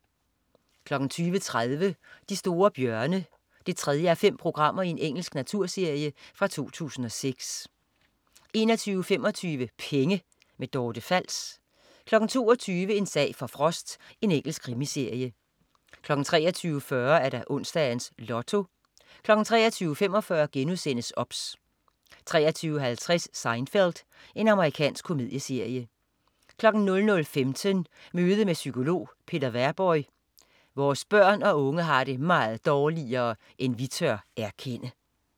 20.30 De store bjørne 3:5. Engelsk naturserie fra 2006 21.25 Penge. Dorte Fals 22.00 En sag for Frost. Engelsk krimiserie 23.40 Onsdags Lotto 23.45 OBS* 23.50 Seinfeld. Amerikansk komedieserie 00.15 Møde med psykolog Peter Währborg. "Vores børn og unge har det meget dårligere end vi tør erkende"